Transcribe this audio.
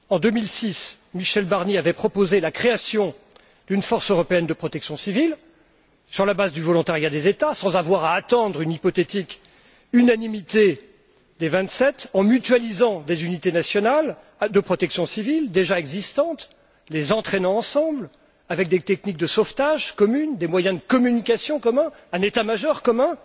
En 2006, Michel Barnier avait proposé la création d'une force européenne de protection civile, sur la base de volontariat des États, sans avoir à attendre une hypothétique unanimité des vingt sept, en mutualisant des unités nationales de protection civile déjà existantes, en les entraînant ensemble avec des techniques de sauvetage communes, des moyens de communication communs, un état major commun.